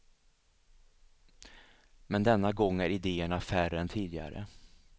Men denna gång är idéerna färre än tidigare.